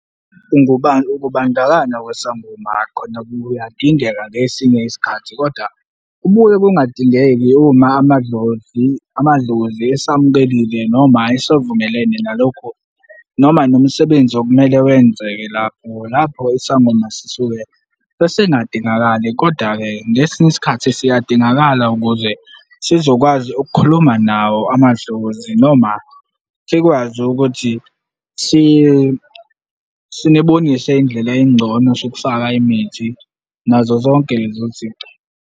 Ukubandakanya kwesangoma khona kuyadingeka ngesinye isikhathi koda kubuye kungadingeki uma amadlozi amadlozi esamukelile noma esavumelene nalokho, noma nomsebenzi okumele wenzeke lapho lapho isangoma sisuke sesingadingakali Kodwa-ke ngesinye isikhathi siyadingakala ukuze sizokwazi ukukhuluma nawo amadlozi noma sikwazi ukuthi sibonise indlela engcono sokufaka imithi nazo zonke lezo zinto.